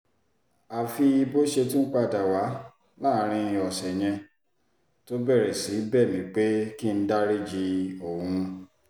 àfi bó ṣe tún padà wà láàrin ọ̀sẹ̀ yẹn tó bẹ̀rẹ̀ sí í bẹ̀ mí pé kí n dariji òun